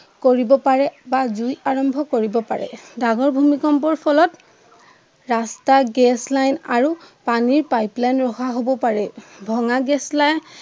কৰিব পাৰে বা জুই আৰম্ভ কৰিব পাৰে। ডাঙৰ ভূমিকম্পৰ ফলত ৰাস্তাৰ গেছ লাইন আৰু পানীৰ পাইপ লাইন নহা হব পাৰে। ভঙা গেছ লাইন